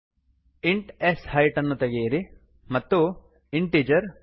ಅದನ್ನು ಉಪಯೋಗಿಸೋಣ int sheet int S height ಅನ್ನು ತೆಗೆಯಿರಿ ಮತ್ತು integerಪಾರ್ಸಿಂಟ್ ಶೀಟ್